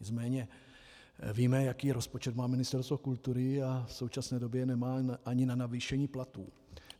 Nicméně víme, jaký rozpočet má Ministerstvo kultury, a v současné době nemá ani na navýšení platů.